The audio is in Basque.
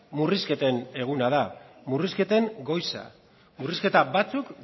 murrizketen eguna da murrizketen goiza murrizketa batzuk